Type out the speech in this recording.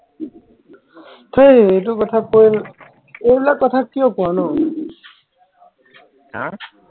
হেই এইটো কথা কৈ এইবিলাক কথা কিয় কোৱা ন হম